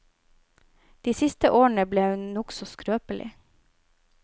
De siste årene ble hun nokså skrøpelig.